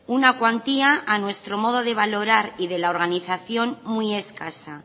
una cuantía a nuestro modo de valorar y de la organización muy escasa